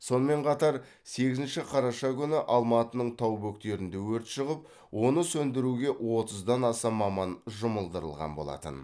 сонымен қатар сегізінші қараша күні алматының тау бөктерінде өрт шығып оны сөндіруге отыздан аса маман жұмылдырылған болатын